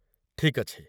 ଠିକ୍ ଅଛି ।